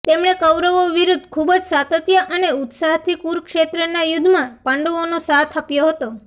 તેણે કૌરવો વિરુદ્ધ ખૂજ સાતત્ય અને ઉત્સાહથી કુરુક્ષેત્રના યુદ્ધમાં પાંડવોનો સાથ આપ્યો હતો